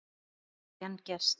Það hefur ekki enn gerst.